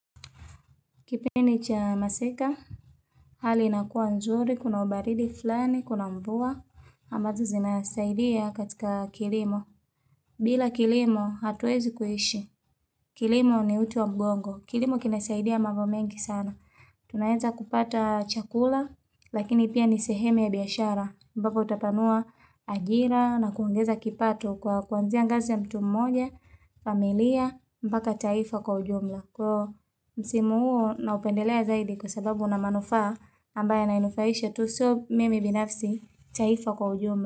Kipindi cha masika, hali inakuwa nzuri, kuna ubaridi fulani, kuna mvua, ambazo zinasaidia katika kilimo. Bila kilimo, hatuwezi kuishi. Kilimo ni uti wa mgongo. Kilimo kinasaidia mambo mengi sana. Tunaweza kupata chakula, lakini pia ni sehemu ya biashara. Ambako utatanua ajira na kuongeza kipato kwa kuanzia ngazi ya mtu mmoja, familia, mbaka taifa kwa ujumla. Kwa msimu huo naupendelea zaidi kwa sababu unamanufaa ambayo yana inufaisha tu so mimi binafsi taifa kwa ujumla.